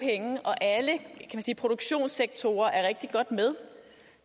penge og alle produktionssektorer er rigtig godt med